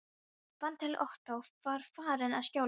Ég fann til ótta og var farin að skjálfa.